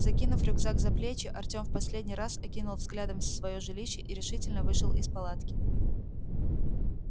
закинув рюкзак за плечи артём в последний раз окинул взглядом своё жилище и решительно вышел из палатки